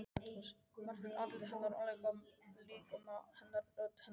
Margréti- andliti hennar, líkama hennar, rödd hennar- og